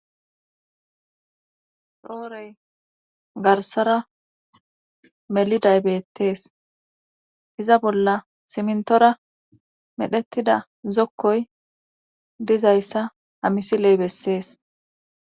roorey garsara melidaybettees iza bolla simntora medhettida zokkoy dizayssa amisiley bessees